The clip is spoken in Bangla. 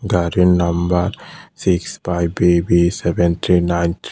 গাড়ির number six five B B seven three nine three.